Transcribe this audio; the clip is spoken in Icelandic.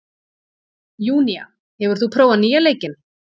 Júnía, hefur þú prófað nýja leikinn?